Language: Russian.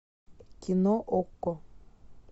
кино окко